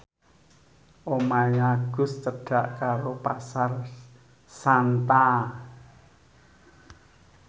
omahe Agus cedhak karo Pasar Santa